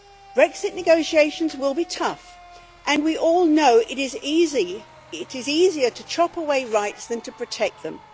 Brexit negotiations will be tough, and we all know it is easier to chop away rights than to protect them.